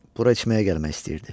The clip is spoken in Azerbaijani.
Bura içməyə gəlmək istəyirdi.